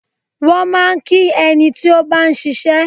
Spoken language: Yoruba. Wọ́n máa ń kí ẹni tí ó bá ń ṣiṣẹ́.